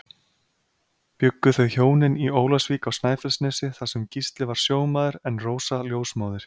Bjuggu þau hjónin í Ólafsvík á Snæfellsnesi þar sem Gísli var sjómaður en Rósa ljósmóðir.